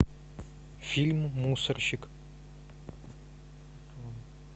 фильм мусорщик